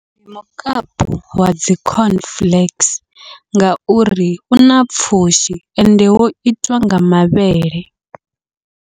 Ndi mukapu wa dzi corn flakes, ngauri u na pfhushi ende wo itwa nga mavhele.